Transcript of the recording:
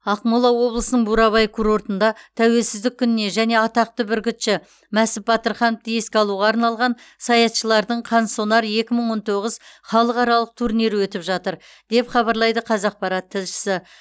ақмола облысының бурабай курортында тәуелсіздік күніне және атақты бүркітші мәсіп батырхановты еске алуға арналған саятшылардың қансонар екі мың он тоғыз халықаралық турнирі өтіп жатыр деп хабарлайды қазақпарат тілшісі